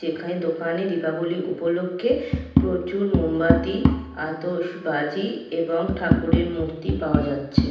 যেখানে দোকানে দীপাবলি উপলক্ষে প্রচুর মোমবাতি আতশ বাজি এবং ঠাকুরের মূর্তি পাওয়া যাচ্ছে।